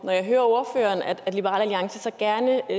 når jeg hører ordføreren sige at liberal alliance gerne